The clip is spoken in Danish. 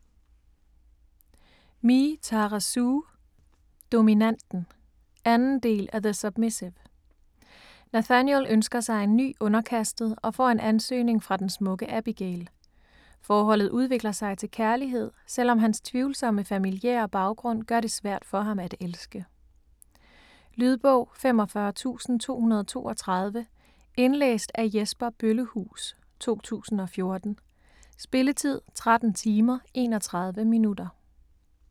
Me, Tara Sue: Dominanten 2. del af The submissive. Nathaniel ønsker sig en ny underkastet, og får en ansøgning fra den smukke Abigail. Forholdet udvikler sig til kærlighed, selvom hans tvivlsomme familiære baggrund gør det svært for ham at elske. Lydbog 45232 Indlæst af Jesper Bøllehuus, 2014. Spilletid: 13 timer, 31 minutter.